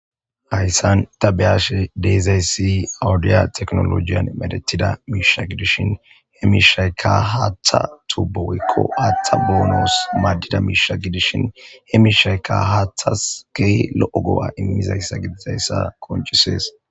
Hayssan tabeyashe deezaysi audiya teknolojiyan medetida miisha gidishin he mishayka haatha tuboykko aaththa boonoos maaddida miisha gidishin he mishayka haathas key lo7o go7a immizayssa gidizayssa konchisees.